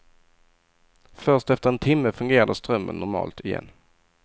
Först efter en timme fungerande strömmen normalt igen.